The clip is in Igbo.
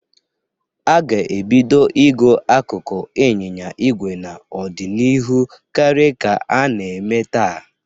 A ga-ebido igo akụkụ anyịnya igwe n'ọdinihu karia ka a na-eme taa.